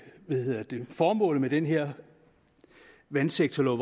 formålet med den her vandsektorlov